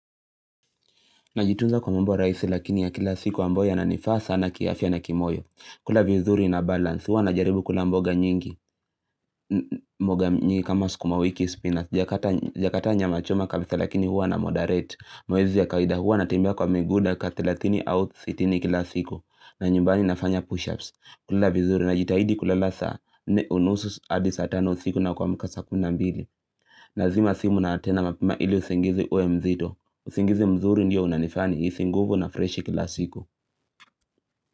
Najitunza kwa mambo rahisi lakini ya kila siku ambayo yananifaa sana kiafya na kimoyo. Kula vizuri na balance huwa na jaribu kula mboga nyingi. Mboga nyingi kama sukuma wiki spinach. Sijakataa nyama choma kabisa lakini hua na moderate. Mazoezi ya kawaida hua natembea kwa miguu dakika thelathini au sitini kila siku. Na nyumbani nafanya push-ups. Kula vizuri najitahidi kulala saa nne unusu hadi saa tano usiku na kuamka saa kumi na mbili. Nazima simu na tena mapema ili usingizi uwe mzito usingizi mzuri ndio unanifanya nihisi nguvu na freshi kila siku.